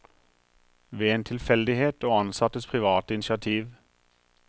Ved en tilfeldighet og ansattes private initiativ.